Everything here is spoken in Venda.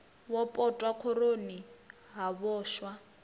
wo potwa khoroni ha vhoxwa